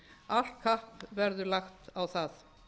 allt kapp verður lagt á það